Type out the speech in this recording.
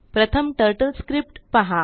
प्रथमTurtleScriptपहा